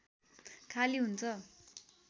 खाली हुन्छ